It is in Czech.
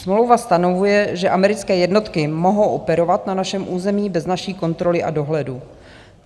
Smlouva stanovuje, že americké jednotky mohou operovat na našem území bez naší kontroly a dohledu.